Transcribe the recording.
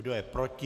Kdo je proti?